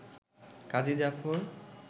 Kazi Zafar